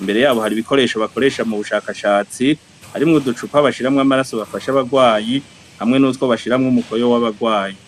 imbere yabo hari ibikoresho bakoresha mu bushakashatsi harimwe uducupa bashiramwo amaraso bafasha abarwayi hamwe n'utwo bashiramwo umukoyo w'abarwayi.